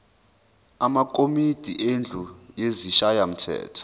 amakomidi endlu yesishayamthetho